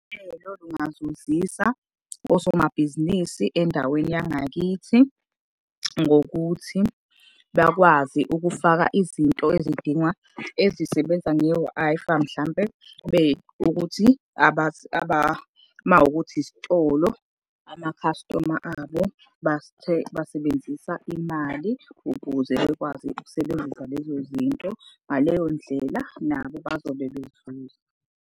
Uhlelo lungazuzisa osomabhizinisi endaweni yangakithi, ngokuthi bakwazi ukufaka izinto ezidingwa, ezisebenza nge-Wi-Fi, mhlampe kube ukuthi uma ukuthi isitolo, amakhastoma abo basebenzisa imali ukuze bekwazi ukusebenzisa lezo zinto. Ngaleyo ndlela nabo bazobe bezuza.